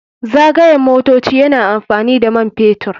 Zagayen motoci yana amfani da man fetur.